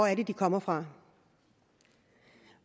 er de kommer fra